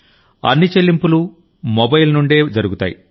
అన్ని చెల్లింపులు మొబైల్ నుండే జరుగుతాయి